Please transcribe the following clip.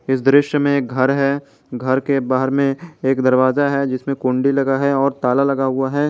इस दृश्य में एक घर है घर के बाहर में एक दरवाजा है जिसमें कुंडी लगा है और ताला लगा हुआ है।